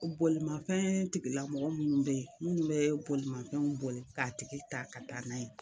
O bolimanfɛn tigilamɔgɔ munnu be yen munnu be bolimanfɛn boli k'a tigi ta ka taa n'a ye